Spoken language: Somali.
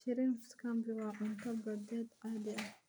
Shrimp scampi waa cunto badeed caadi ah.